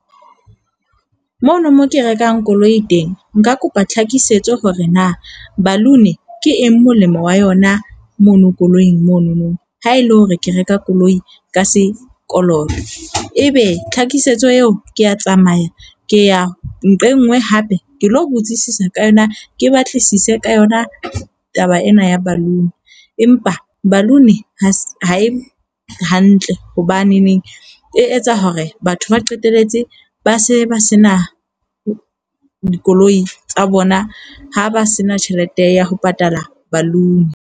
Mono mo ke rekang koloi teng nka kopa tlhakisetso hore na balloon ke eng molemo wa yona mono koloing monono ha ele hore ke reka koloi ka sekoloto. Ebe tlhakisetso eo ke a tsamaya ke ya nqa e nngwe hape. Ke lo botsisisa ka yona. Ke batlisise ka yona taba ena ya balloon empa balloon ha e hantle hobaneneng e etsa hore batho ba qetelletse ba se ba se na dikoloi tsa bona, ha ba se na tjhelete ya ho patala balloon.